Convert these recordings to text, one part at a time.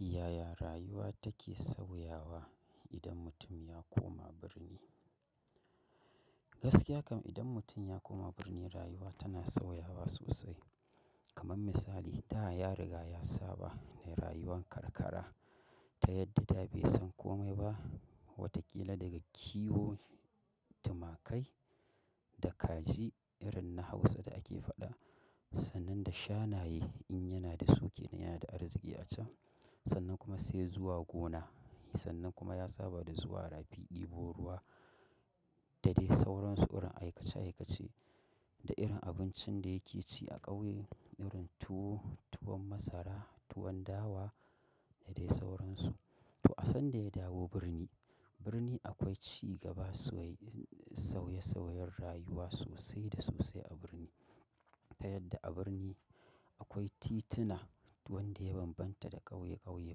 Yaya rayuwa take sauyawa idan mutum ya koma birni? Gaskiya kam idan mutum ya koma birni rayuwa tana sauyawa sosai. Kaman misali, da ya riga ya saba da rayuwar karkara ta yadda da bai san kome ba. Wataƙila daga kiwon, tumakai da kaji irin na Hausa da ake faɗa. Sannan da shanayen in yana da su kenan yana da arziki a can. Sannan kuma sai zuwa gona, sannan kuma ya saba da zuwa rafi, ɗebo ruwa da dai sauran suwar aikace aikace da irin abincin da yake ci a ƙauye irin tuwo, tuwon masara, tuwon dawa da dai sauransu. To, a sanda ya dawo birni, birni akwai cigaba sauye sauyen rayuwa sosai da sosai a birni. Ta yadda a birni akwai tituna wanda ya bambanta da ƙauye ƙauye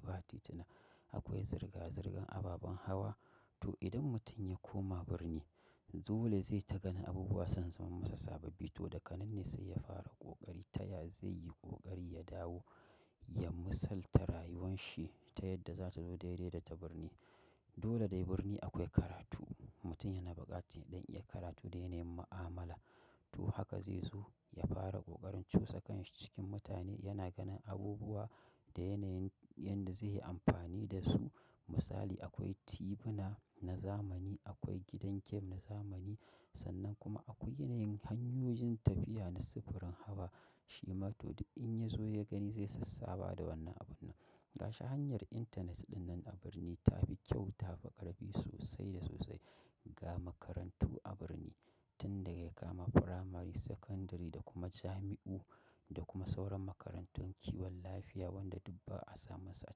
ba tituna. Akwai zirga zirgan ababan hawa. To, idan mutum ya koma birni, dole zai ta ganin abubuwa san zaman masa sababbi. To, da kananne sai ya fara ƙoƙari taya zai yi ƙoƙari ya dawo, ya misalta rayuwan shi ta yadda za ta zo daidai da ta birni. Dole dai birni akwai karatu. Mutum yana buƙatar don iya karatu da yanayin mu'amala. To, haka zai so ya fara ƙoƙarin cusa kanshi cikin mutane yana ganin abubuwa da yanayin yanda zai yi amfani da su. Misali akwai tibina na zamani, akwai gidan kem na zamani. Sannan kuma akwai yanayin hanyoyin tafiya na sufurin hawa. Shi ma to duk in ya zo ya gani zai sassaba da wannan abun nan. Gashi hanyar intanet ɗinnan a birni ta fi kyau, ta fi ƙarfi sosai da sosai ga makarantu a birni. Tun daga ya kama firamari, sakandari da kuma jami'u da kuma sauran makarantun kiwon lafiya wanda dubba a samu su a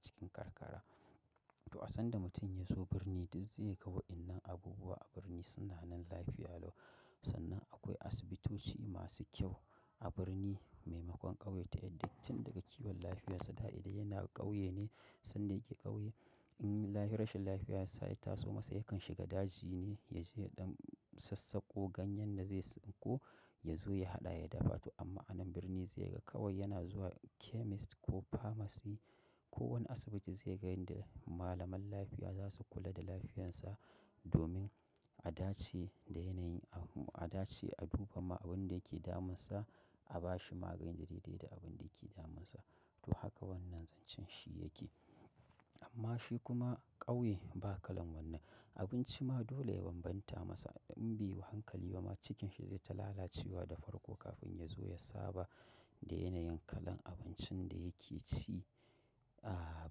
cikin karkara. To, a sanda mutum ya zo birni, duk zai ga wa'innan abubuwa a birni sunanan lafiya lau. Sannan akwai asibitoci masu kyau a birni, maimakon ƙauye. Ta yadda tun daga kiwon lafiyarsa da idan yana ƙauye ne, sanda yake ƙauye in rashin lafiya ya taso masa yakan shiga daji ne ya je ɗan sassako ganyen da zai ko ya zo ya haɗa ya dafa. To amma anan birni sai ga kawai yana zuwa chemist ko pharmacy ko wani asibiti zai ga yanda malaman lafiya za su kula da lafiyansa domin a dace da yanayin, a dace a duba ma abin da yake damunsa, a ba shi magani daidai da abin da yake damunsa. To, haka wannan zancen shi yake. Amma shi kuma ƙauye ba kalan wannan. Abinci ma dole ya bambanta masa. In bai yi wa hankali ba ma cikinsa zai ta lalacewa da farko kafin ya zo ya saba da yanayin kalan abincin da yake ci a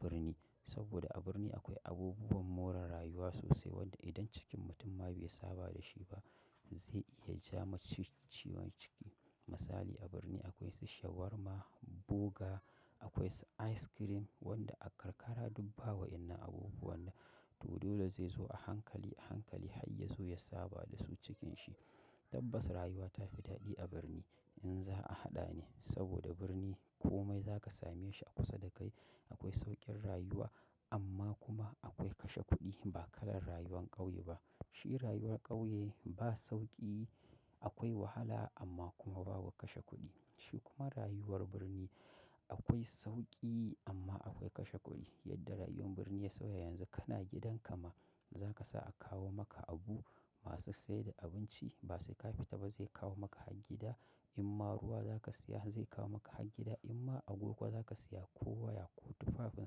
birni. Saboda a birni akwai abubuwan more rayuwa sosai wanda idan cikin mutum ma bai yi saba da shi ba zai iya ja masu ciwon ciki. Misali a birni akwai su shawarma, burger, akwai ice cream wanda a karkara dubba wa'innan abubuwan da. To, dole zai zo a hankali a hankali har ya zo ya saba da su cikin shi. Tabbas rayuwa ta fi daɗi a birni in za a haɗa ne saboda birni komai zaka same shi a kusa da kai. Akwai sauƙin rayuwa amma kuma akwai kashe kuɗi ba kalan rayuwar ƙauye ba. Shi rayuwar ƙauye ba sauƙi, akwai wahala amma kuma ba wa kashe kuɗi. Shi kuma rayuwar birni akwai sauƙi amma akwai kashe kuɗi. Yadda rayuwar birni ya sauya yanzu kana gidan ka ma za ka sa a kawo maka abu masu sai da abinci ba sai ka fita ba zai kawo maka har gida. In ma ruwa za ka siya zai kawo maka har gida. In ma agogo za ka siya ko waya ko tufafin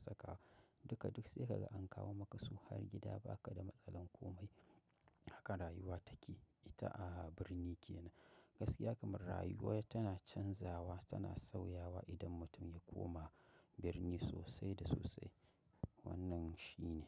saka duka duk sai ka ga an kawo maka su har gida ba ka da matsalar komai. Haka rayuwa take ita a birni ke nan. Gaskiya kamar rayuwa tana canzawa, tana sauyawa idan mutum ya koma birni sosai da sosai. Wannan shi ne.